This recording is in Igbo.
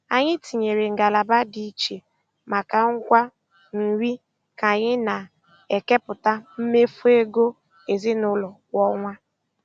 Anyị tinyere ngalaba dị iche maka ngwa nri ka anyị na-ekepụta mmefu ego ezinụlọ kwa ọnwa.